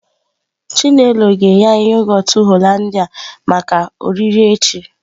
Chinelo ga-enye anyi yoghurt Hollandia maka oriri echi.